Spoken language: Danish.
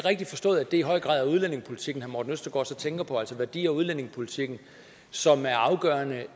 i høj grad er udlændingepolitikken morten østergaards tænker på altså værdi og udlændingepolitikken som er afgørende